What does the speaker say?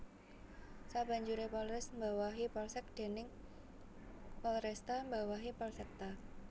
Sabanjuré Polres mbawahi Polsek dénég Polresta mbawahi Polsekta